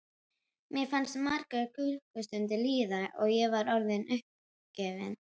Mér fannst margar klukkustundir líða og ég var orðin uppgefin.